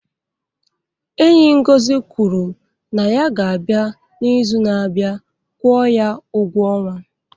Enyi Ngozi kwuru na ya ga-abịa n'izu na-abịa kwụọ ya ụgwọ ọnwa.